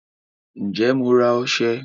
Ǹjẹ́ Mo ra ọsẹ